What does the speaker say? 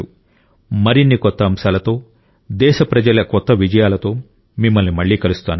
మరిన్ని కొత్త అంశాలతో దేశప్రజల కొత్త విజయాలతో మిమ్మల్ని మళ్ళీ కలుస్తాను